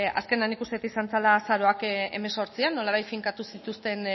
nik uste dut izan zela azaroak hemezortzian nolabait finkatu zituzten